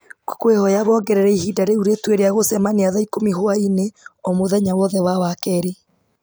ngũkwĩhoya wongerere ihinda rĩu rĩtue rĩa gũcemania thaa ikũmi hwaĩ-inĩ o mũthenya wothe wa wakerĩ